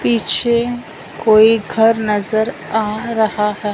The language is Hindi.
पीछे कोई घर नजर आ रहा है।